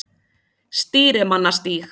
Stýrimannastíg